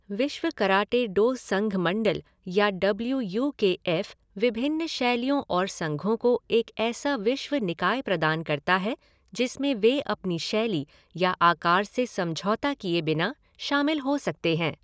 विश्व karate do संघ मंडल या डब्ल्यू यू के एफ़ विभिन्न शैलियों और संघों को एक ऐसा विश्व निकाय प्रदान करता है जिसमें वे अपनी शैली या आकार से समझौता किए बिना शामिल हो सकते हैं।